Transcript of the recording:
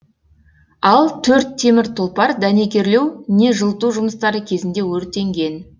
ал төрт темір тұлпар дәнекерлеу не жылыту жұмыстары кезінде өртенген